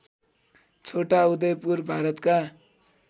छोटा उदयपुर भारतका